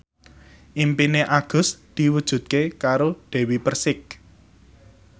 impine Agus diwujudke karo Dewi Persik